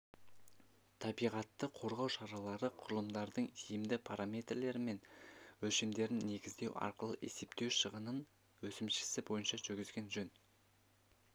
табиғатты қорғау шаралары құрылымдарының тиімді параметрлері мен өлшемдерін негіздеу арқылы есептеу шығынын өсімшесі бойынша жүргізген жөн